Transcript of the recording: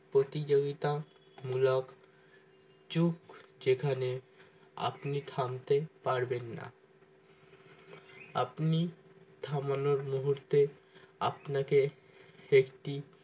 প্রতিযোগিতামূলক যুগ যেখানে আপনি থামতে পারবেন না আপনি থামানোর মুহূর্তে আপনাকে একটি